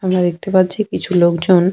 আমরা দেখতে পাচ্ছি কিছু লোকজন--